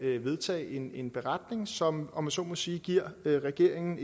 vedtage en en beretning som om jeg så må sige giver regeringen